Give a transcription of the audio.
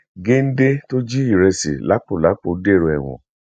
géńdé tó jí ìrẹsì lápólàpọ dèrò ẹwọn